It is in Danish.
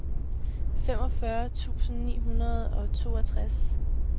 femogfyrre tusind ni hundrede og toogtres